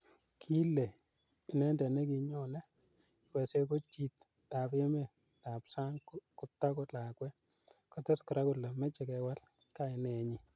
Killie, inendet ne kinyone USA ko chit ap emet ap sang kotako lakwet , kotes kora kole meche kewal kainet nyi.